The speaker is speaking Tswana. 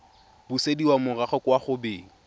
busediwa morago kwa go beng